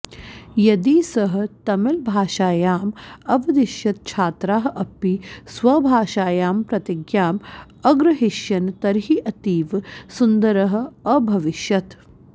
यदि सः तमिलभाषायाम् अवदिष्यत् छात्राः अपि स्वभाषायां प्रतिज्ञां अग्रहिष्यन् तर्हि अतीव सुन्दरः अभविष्यत्